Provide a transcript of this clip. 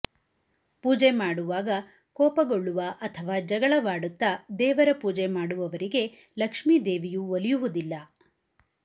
ಪೂಜೆ ಮಾಡುವಾಗ ಕೋಪಗೊಳ್ಳುವ ಅಥವಾ ಜಗಳವಾಡುತ್ತಾ ದೇವರ ಪೂಜೆ ಮಾಡುವವರಿಗೆ ಲಕ್ಷ್ಮೀ ದೇವಿಯು ಒಲಿಯುವುದಿಲ್ಲ